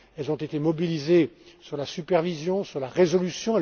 elles ont été mobilisées sur la supervision, sur la résolution